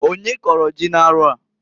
Onye kọrọ ji n'arọ a?